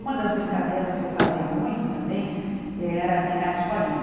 Uma das brincadeiras que eu fazia muito também era brincar de escolinha.